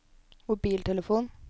mobiltelefon